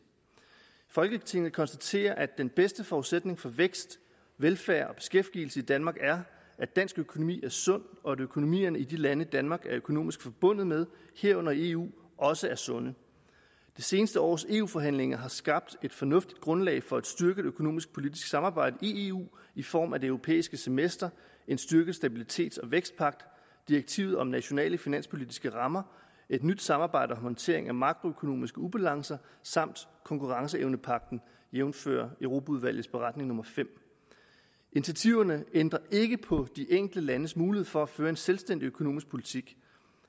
folketinget konstaterer at den bedste forudsætning for vækst velfærd og beskæftigelse i danmark er at dansk økonomi er sund og at økonomierne i de lande danmark er økonomisk forbundet med herunder i eu også er sunde det seneste års eu forhandlinger har skabt et fornuftigt grundlag for et styrket økonomisk politisk samarbejde i eu i form af det europæiske semester en styrket stabilitets og vækstpagt direktivet om nationale finanspolitiske rammer et nyt samarbejde om håndtering af makroøkonomiske ubalancer samt konkurrenceevnepagten jævnfør europaudvalgets beretning nummer femte initiativerne ændrer ikke på de enkelte landes mulighed for at føre en selvstændig økonomisk politik